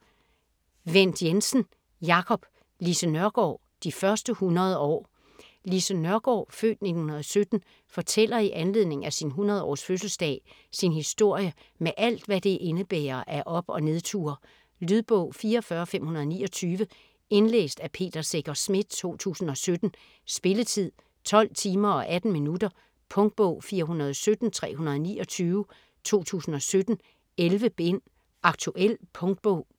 Wendt Jensen, Jacob: Lise Nørgaard: de første 100 år Lise Nørgaard (f. 1917) fortæller i anledning af sin 100-års fødseldag sin historie med alt, hvad det indebærer af op- og nedture. Lydbog 44529 Indlæst af Peter Secher Schmidt, 2017. Spilletid: 12 timer, 18 minutter. Punktbog 417329 2017. 11 bind. Aktuel punktbog